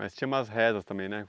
Mas tinha umas rezas também, né?